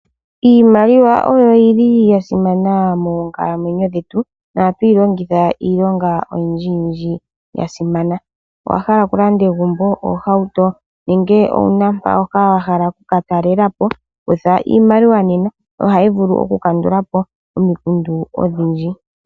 Iimaliwa oyo yili ya simana moonkalamwenyo dhetu nohatu yi longitha iilonga oyindji yasimana owahala okulanda egumbo ohauto nenge owuna mpoka wahala okuka talela po kutha iimaliwa nena ohayi vulu okukandula po omikundu odhindji.